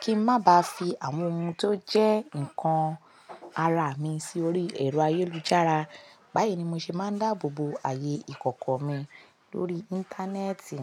kí n má ba fi àwọn ohun tó jẹ́ nǹkan ara mi sórí ẹ̀rọ ayélujára, báyìí ni mo ṣe máa ń dáàbò bo ààyè ìkọ̀kọ̀ mi lórí Íńtánẹ́ẹ̀tì.